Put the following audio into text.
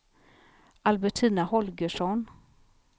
Albertina Holgersson